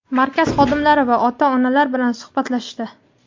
markaz xodimlari va ota-onalar bilan suhbatlashdi.